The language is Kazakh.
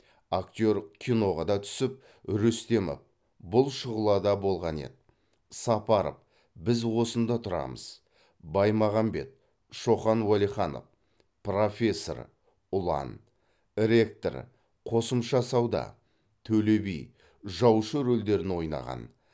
актер киноға да түсіп рүстемов бұл шұғылада болған еді сапаров біз осында тұрамыз баймағанбет шоқан уәлиханов профессор ұлан ректор қосымша сауда төле би жаушы рөлдерін ойнаған